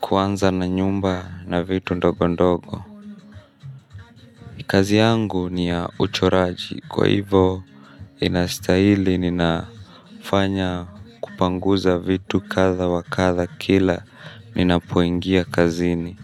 Kuanza na nyumba na vitu ndogo ndogo. Kazi yangu ni ya uchoraji. Kwa hivo inastahili ninafanya kupanguza vitu kadha wa kadha kila ninapoingia kazini.